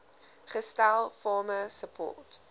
gestel farmer support